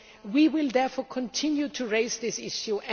We will, therefore, continue to raise this issue.